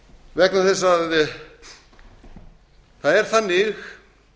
vegna þess að það er þannig